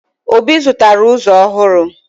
Obi zụtara ụzọ ọhụrụ